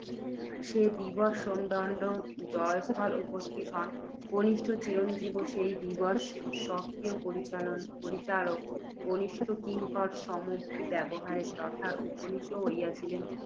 যে দিবস সোমদত্ত জয়স্থলে উপস্থিত হন, কনিষ্ঠ চিরঞ্জীবও সেই দিবস, স্বকীয় পরিচারক কনিষ্ঠ কিঙ্কর সমভিব্যাহারে, তথায় উপনীত হইয়াছিলেন।